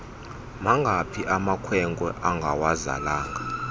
mangaphi amakwenkwe angawazalanga